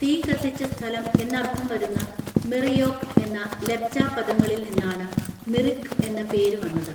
തീ കത്തിച്ച സ്ഥലം എന്നർത്ഥം വരുന്ന മിർ യോക്ക് എന്ന ലെപ്ച പദങ്ങളിൽ നിന്നാണ് മിറിക്ക് എന്ന പേര് വന്നത്.